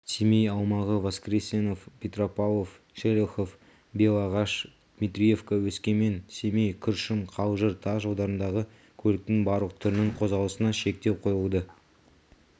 семей аумағы воскресенов петропавлов шелехов бел ағаш дмитриевка өскемен семей күршім қалжыр тас жолдарындағы көліктің барлық түрінің қозғалысына шектеу қойылады